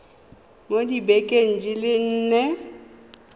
mo dibekeng di le nne